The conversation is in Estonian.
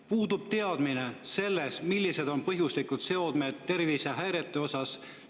Puudub teadmine sellest, millised on põhjuslikud seosed tervisehäiretega.